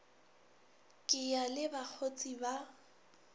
ke ya le bakgotse ba